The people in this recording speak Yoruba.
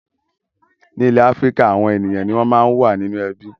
Ní ilẹ̀ Áfíríkà, àwọn ènìyàn ni wọ́n máa ń wà nínú ẹbí.